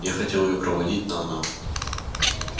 я хотел её проводить но она